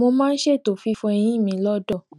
mo máa n ṣètò fífọ eyín mi lọdọ